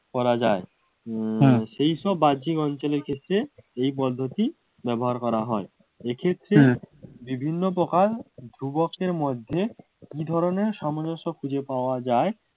করা যায় উম সেই সব বাহ্যিক অঞ্চলের ক্ষেত্রে এই পদ্ধতি ব্যবহার করা হয়। এক্ষেত্রে বিভিন্ন প্রকার ধ্রুবকের মধ্যে কি ধরনের সামঞ্জস্য খুঁজে পাওয়া যায়